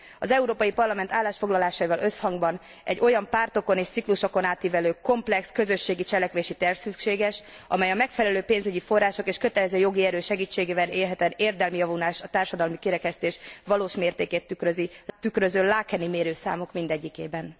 Az Európai Parlament állásfoglalásaival összhangban egy olyan, pártokon és ciklusokon átívelő komplex közösségi cselekvési terv szükséges, amely a megfelelő pénzügyi források és kötelező jogi erő segítségével érhet el érdemi javulást a társadalmi kirekesztés valós mértékét tükröző laekeni mérőszámok mindegyikében.